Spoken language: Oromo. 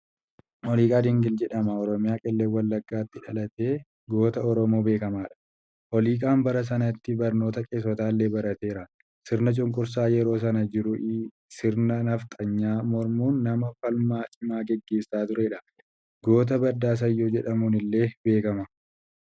Oliiqaa Dingil jedhama. Oromiyaa, Qellem Wallagaatti dhalate. Goota Oromoo beekamaadha. Oliiqaan bara sanatti barnootaa qeessotaallee barateera. Sirna cunqursaa yeroo san jiru sirna nafxanyaa mormuun nama falmaa cimaa gaggeessaa turedha. Goota Baddaa Sayyoo jedhamuunillee beekama.